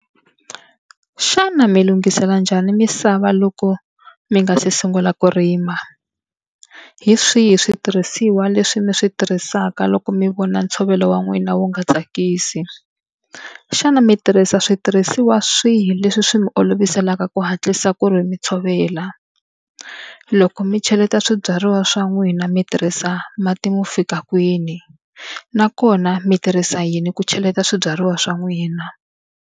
Xana mi lunghisela njhani misava loko mi nga se sungula ku rima? Hi swihi switirhisiwa leswi mi swi tirhisaka loko mi vona ntshovelo wa n'wina wu nga tsakisi? Xana mi tirhisa switirhisiwa swihi leswi swi mi oloviselaka ku hatlisa ku ri mi tshovela? Loko mi cheleta swibyariwa swa n'wina mi tirhisa mati mo fika kwini? Nakona mi tirhisa yini ku cheleta swibyariwa swa n'wina?